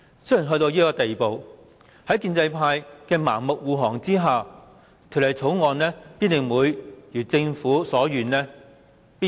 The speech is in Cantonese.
雖然到了這地步，在建制派的盲目護航下，《廣深港高鐵條例草案》必然會如政府所願通過。